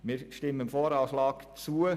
Wir stimmen dem VA zu.